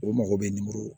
U mago bɛ